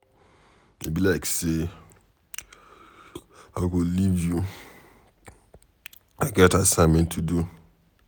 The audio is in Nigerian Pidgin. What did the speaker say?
E be like say I go live you. I get assignment to do.